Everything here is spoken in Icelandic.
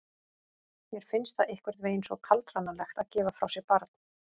Mér finnst það einhvern veginn svo kaldranalegt að gefa frá sér barn.